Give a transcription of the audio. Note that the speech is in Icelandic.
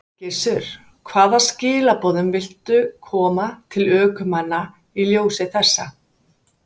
Gissur: Hvaða skilaboðum viltu koma til ökumanna í ljósi þessa?